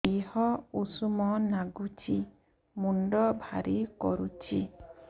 ଦିହ ଉଷୁମ ନାଗୁଚି ମୁଣ୍ଡ ଭାରି କରୁଚି